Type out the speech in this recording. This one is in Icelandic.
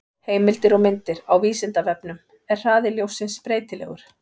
Heimildir og myndir: Á Vísindavefnum: Er hraði ljóssins breytilegur?